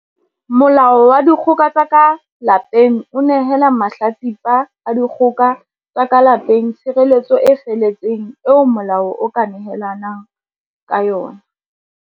Molao wa Dikgoka tsa ka Lapeng o nehela mahla tsipa a dikgoka tsa ka lape ng tshireletso e feletseng eo molao o ka nehelang ka yona.